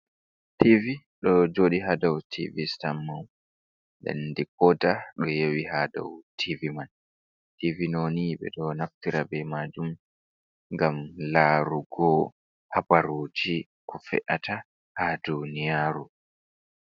Tivi ɗo joɗi ha dou tivi sitan mum, nden dikoda ɗo yewi ha dau tivi man. Tivi ɗoni ɓeɗo naftira be majum ngam larugo habaruji ko fe’ata ha duniyaru.